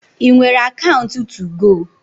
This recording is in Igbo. I nwere akaunt tugo?